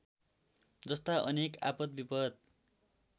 जस्ता अनेक आपद विपत